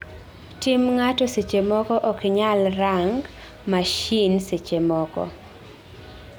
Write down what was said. Tim ngato seche moko oknyal rang mashine sechemoko